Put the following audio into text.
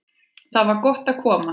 Þar var gott að koma.